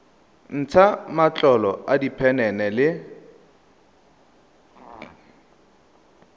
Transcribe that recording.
ntsha matlolo a diphenene le